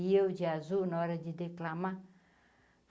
E eu, de azul, na hora de declamar.